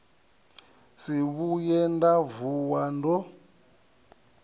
si vhuye nda vuwa ndo